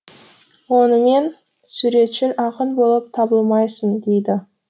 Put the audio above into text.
онымен суретшіл ақын болып табылмайсың дейді